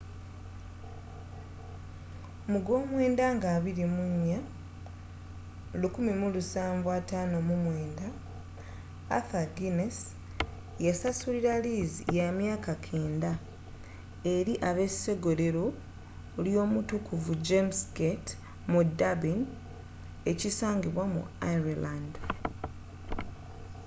mu gwomwenda nga 24 1759 arthur guiness yasasulira liizi yamyaka 9000 eri abesogolero lyomutukuvu james gate mu durbin ekisangibwa mu ireland